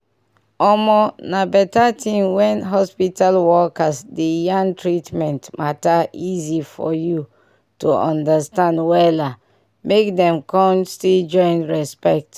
omo na better tin when hospital workers dey yarn treatment mater easy for you to understand wella mk dem con still join respect.